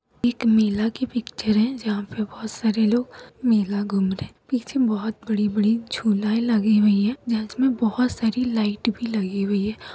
एक मेला की पिक्चर है जहां पर बहुत सारे लोग मेला घूम रहे हैं पीछे बहुत बड़ी-बड़ी झूलायें लगी हुई है जिसमें बहुत सारी लाइट भी लगी हुई है।